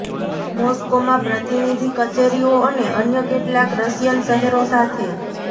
મોસ્કોમાં પ્રતિનિધિ કચેરીઓ અને અન્ય કેટલાક રશિયન શહેરો સાથે